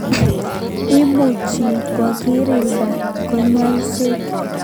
Imuchi kokirinda kanyoiset